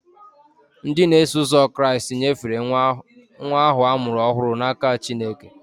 Ndị na-eso ụzọ Kraịst nyefere nwa ahụ a mụrụ ọhụrụ n'aka Chineke.